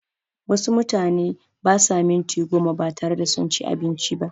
Wasu mutane basa minti goma batare da sunci abinci ba